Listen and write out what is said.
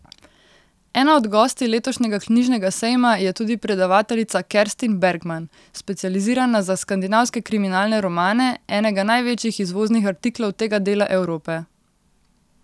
Ena od gostij letošnjega knjižnega sejma je tudi predavateljica Kerstin Bergman, specializirana za skandinavske kriminalne romane, enega največjih izvoznih artiklov tega dela Evrope.